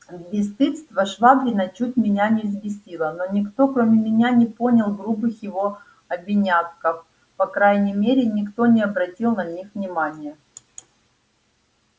бесстыдство швабрина чуть меня не взбесило но никто кроме меня не понял грубых его обиняков по крайней мере никто не обратил на них внимания